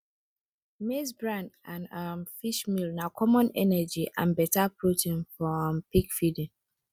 maize bran and um fish meal na common energy and better protein for um pig feeding